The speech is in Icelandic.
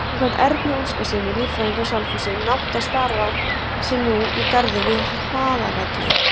Samkvæmt Erni Óskarssyni, líffræðingi á Selfossi, nátta starar sig núna í garði við Hlaðavelli.